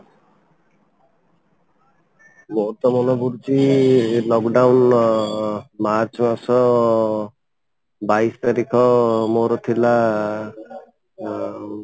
ମୋର ତ ମନେ ପଡୁଛି lock down ମାର୍ଚ୍ଚ ମାସ ବାଇଶି ତାରିଖ ମୋର ଥିଲା ଅଂ